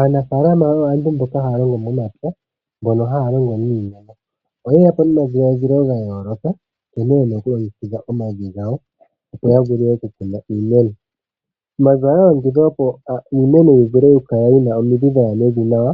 Aanafalama oyo aantu mboka haya longo momapya mbono haya longo niimeno. Oyeya po nomadhiladhilo gayooloka nkene yena okulongekidha omavi gawo opo ya vule okukuna iimeno. Omavi ohaga longekidhwa opo iimeno yivule okukala yina omidhi dhikale dhaya mevi nawa,